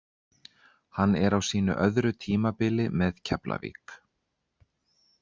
Hann er á sínu öðru tímabili með Keflavík.